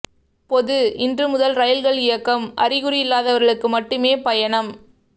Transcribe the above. பொது இன்று முதல் ரயில்கள் இயக்கம் அறிகுறி இல்லாதவர்களுக்கு மட்டுமே பயணம்